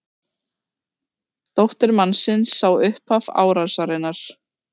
Dóttir mannsins sá upphaf árásarinnar